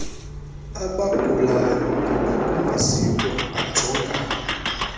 abagulayo nabakumaziko ajongana